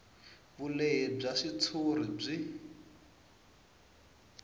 vulehi bya xitshuriwa byi